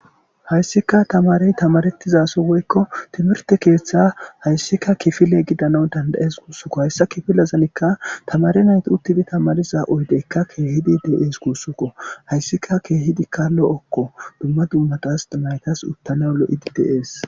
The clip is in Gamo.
hayssika tamarey tamarettizaso woykko timirte keeththe hayssika kifile gidana danda7ees guussukko hayssa kifilezanikka tamare nayti uttidi tamariza oydeykka keehidi deees guussuko hayssika keehidikka lo7okko dumma dummatas naytas uttana lo7i di dees